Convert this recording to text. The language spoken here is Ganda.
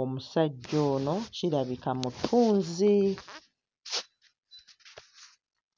omusajja ono kirabika mutunzi.